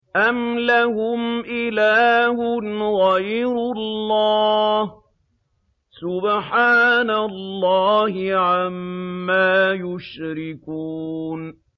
أَمْ لَهُمْ إِلَٰهٌ غَيْرُ اللَّهِ ۚ سُبْحَانَ اللَّهِ عَمَّا يُشْرِكُونَ